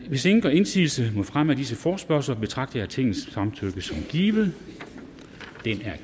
hvis ingen gør indsigelse mod fremme af disse forespørgsler betragter jeg tingets samtykke som givet